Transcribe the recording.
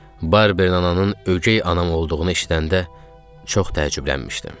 Barbierin ananın ögey anam olduğunu eşidəndə çox təəccüblənmişdim.